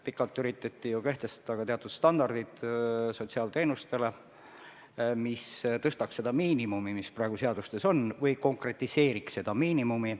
Pikalt üritati ju sotsiaalteenustele kehtestada ka teatud standardid, mis suurendaks seda miinimumi, mis praegu on seadustes, või konkretiseeriks seda miinimumi.